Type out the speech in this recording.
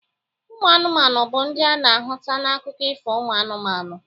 Ụmụ anụmanụ bụ ndị ana ahụta na akụkọ Ifo uMụ anụmanụ.